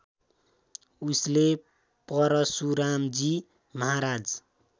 उसले परशुरामजी महाराज